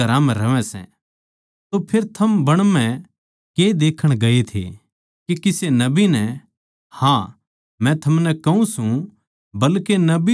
तो फेर थम बण म्ह के देखण गये थे के किसे नबी नै हाँ मै थमनै कहूँ सूं बल्के नबी तै भी बड्डे नै